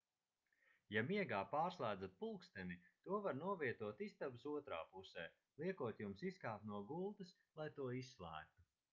ja miegā pārslēdzat pulksteni to var novietot istabas otrā pusē liekot jums izkāpt no gultas lai to izslēgtu